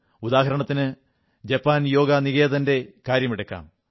ഉദാഹണത്തിന് Japan യോഗനികേതന്റെ കാര്യമെടുക്കാം